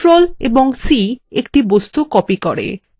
ctrl + c একটা বস্তু copy করে